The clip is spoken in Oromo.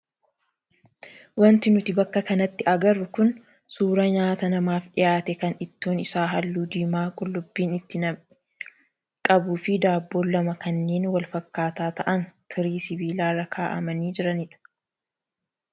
Wanti nuti bakka kanatti agarru kun suuraa nyaata namaaf dhiyaate kan ittoon isaa halluu diimaa qullubbiin itti nam'e qabuu fi daabboon lama kanneen wal fakkaataa ta'an tirii sibiilaa irra kaa'amanii jiranidha.